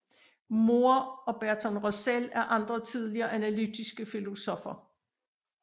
Moore og Bertrand Russell er andre tidlige analytiske filosoffer